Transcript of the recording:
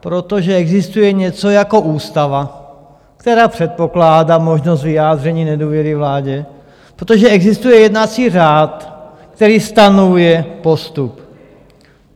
Protože existuje něco jako ústava, která předpokládá možnost vyjádření nedůvěry vládě, protože existuje jednací řád, který stanovuje postup.